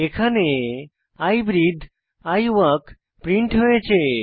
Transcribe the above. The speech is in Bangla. এখানে I breathe I walk print হয়েছে